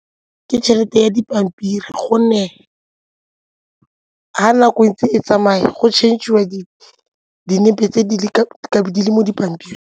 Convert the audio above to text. Ke tšhelete ya dipampiri gonne ga nako e ntse e tsamaya go change-iwa dinepe tse di le dintsi mo dipampiring.